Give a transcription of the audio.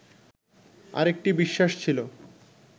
আরেকটি বিশ্বাস ছিল